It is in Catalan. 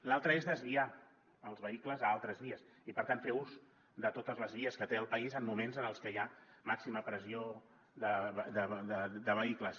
l’altra és desviar els vehicles a altres vies i per tant fer ús de totes les vies que té el país en moments en els que hi ha màxima pressió de vehicles